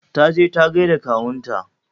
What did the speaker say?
Ta je ta gaida da kawunta.